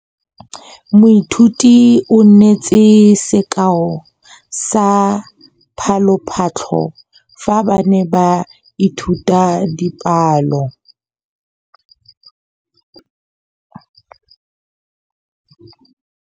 Moithuti o neetse sekaô sa palophatlo fa ba ne ba ithuta dipalo.